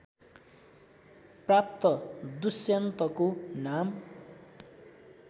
प्राप्त दुष्यन्तको नाम